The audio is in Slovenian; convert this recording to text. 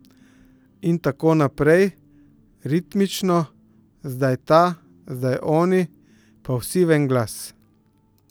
In tako naprej, ritmično, zdaj ta, zdaj oni, pa vsi v en glas.